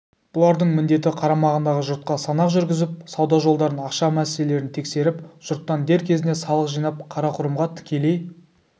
бұлардың міндеті қарамағындағы жұртқа санақ жүргізіп сауда жолдарын ақша мәселелерін тексеріп жұрттан дер кезінде салық жинап қарақұрымға тікелей